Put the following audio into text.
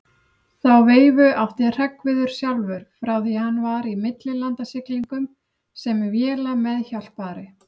Þá veifu átti Hreggviður sjálfur frá því hann var í millilandasiglingum sem vélameðhjálpari.